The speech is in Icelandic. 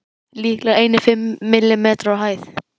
Líklega einir fimm millimetrar á hæð.